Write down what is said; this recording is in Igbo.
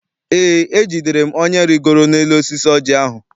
Eé, ejidere m onye rigoro n'elu osisi oji ahụ.